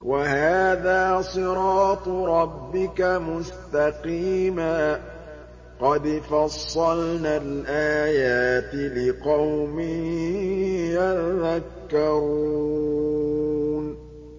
وَهَٰذَا صِرَاطُ رَبِّكَ مُسْتَقِيمًا ۗ قَدْ فَصَّلْنَا الْآيَاتِ لِقَوْمٍ يَذَّكَّرُونَ